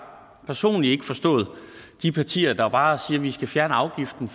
personligt ikke forstået de partier der bare siger at vi skal fjerne afgiften